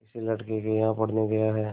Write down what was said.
किसी लड़के के यहाँ पढ़ने गया है